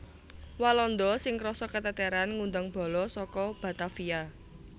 Walanda sing krasa keteteran ngundang bala saka Batavia